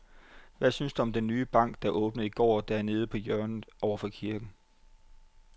Hvad synes du om den nye bank, der åbnede i går dernede på hjørnet over for kirken?